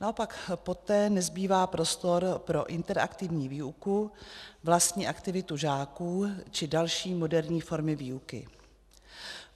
Naopak poté nezbývá prostor pro interaktivní výuku, vlastní aktivitu žáků či další moderní formy výuky.